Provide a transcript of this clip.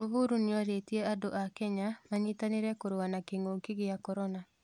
Uhuru nĩ orĩtie andũ a Kenya manyitanĩre kũrũa na kĩng'ũki gĩa korona.